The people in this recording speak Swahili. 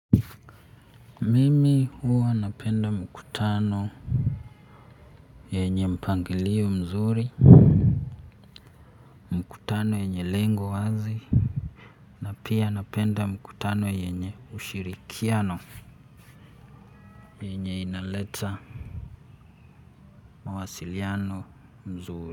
Mimi huwa napenda mkutano. Yenye mpangilio mzuri mkutano yenye lengo wazi pia napenda mkutano yenye ushirikiano. Yenye inaleta mawasiliano mzuri.